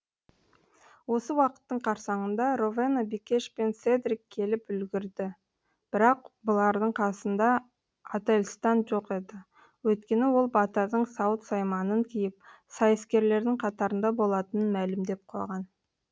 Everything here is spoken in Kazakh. осы уақыттың қарсаңында ровена бикеш пен седрик келіп үлгірді бірақ бұлардың қасында ательстан жоқ еді өйткені ол батырдың сауыт сайманын киіп сайыскерлердің қатарында болатынын мәлімдеп қойған